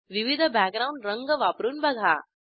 विविध बॅकग्राऊंड रंग वापरून बघा